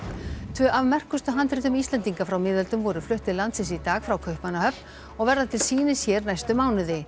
tvö af merkustu handritum Íslendinga frá miðöldum voru flutt til landsins í dag frá Kaupmannahöfn og verða til sýnis hér næstu mánuði